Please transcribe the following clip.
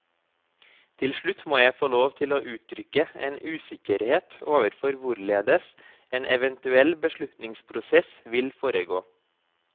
Til slutt må jeg få lov til å uttrykke en usikkerhet overfor hvorledes en eventuell beslutningsprosess vil foregå.